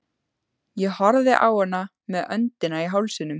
Ég horfði á hana með öndina í hálsinum.